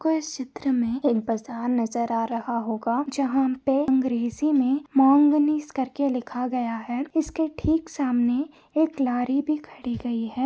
को इस चित्र में एक बाजार नजर आ रहा होगा जहाँ पर अंग्रेजी में मोंगिनिस करके लिखा गया है इसके ठीक सामने एक लॉरी भी खड़ी हुई है।